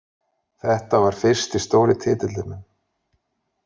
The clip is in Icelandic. Þetta var fyrsti stóri titillinn minn.